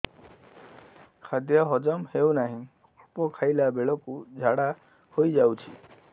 ଖାଦ୍ୟ ହଜମ ହେଉ ନାହିଁ ଅଳ୍ପ ଖାଇଲା ବେଳକୁ ଝାଡ଼ା ହୋଇଯାଉଛି